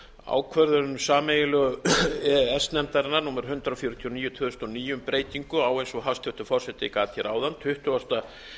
ákvörðun sameiginlegu e e s nefndarinnar númer hundrað fjörutíu og níu tvö þúsund og níu um breytingu á eins og hæstvirtur forseti gat hér áðan tuttugasta